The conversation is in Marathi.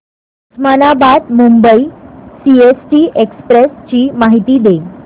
उस्मानाबाद मुंबई सीएसटी एक्सप्रेस ची माहिती दे